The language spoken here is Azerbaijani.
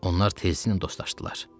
Onlar tezliklə dostlaşdılar.